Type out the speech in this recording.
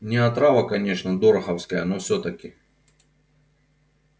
не отрава конечно дороховская но всё-таки